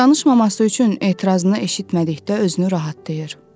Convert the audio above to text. Danışmaması üçün etirazını eşitmədikdə özünü rahatlayır.